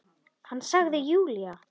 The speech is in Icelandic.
Hann sagði Júlía!